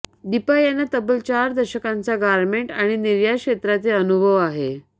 दीपा यांना तब्बल चार दशकांचा गारमेंट आणि निर्यात क्षेत्रातील अनुभव आहे